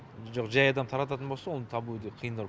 жоқ жәй адам тарататын болса оны табу өте қиындау